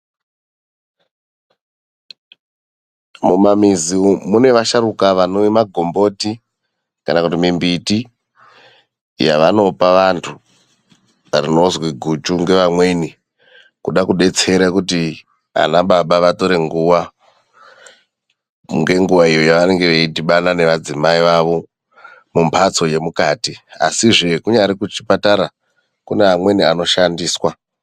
Mumamizi umu mune vasharukwa vanorima gomboti kana kuti mimbiti yavanopa vantu inonzi guchu ngevamweni kuda kuti ana baba vatore nguva yakawanda veidhibana nemadzimai avo muimba yemukati, chero kunyari kuchibhedhlera kune anoshandiswa .